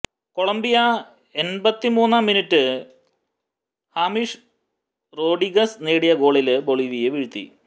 Colombia എണ്പത്തിമൂന്നാം മിനുട്ടില് James Rodriguez നേടിയ ഗോളില് ബൊളിവിയയെ വീഴ്ത്തി